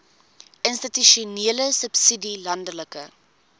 institusionele subsidie landelike